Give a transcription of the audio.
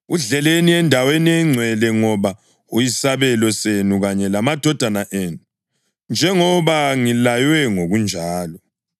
Udleleni endaweni engcwele, ngoba uyisabelo senu kanye lamadodana enu, njengoba ngilaywe ngokunjalo.